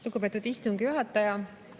Lugupeetud istungi juhataja!